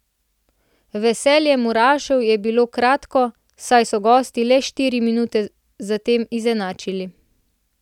Veselje murašev je bilo kratko, saj so gosti le štiri minute zatem izenačili.